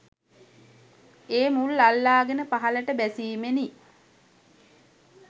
ඒ මුල් අල්ලාගෙන පහළට බැසීමෙනි.